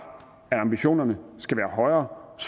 at ambitionerne skal være højere og